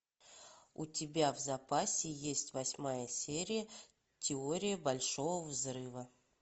у тебя в запасе есть восьмая серия теория большого взрыва